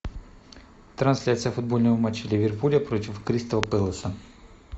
трансляция футбольного матча ливерпуля против кристал пэласа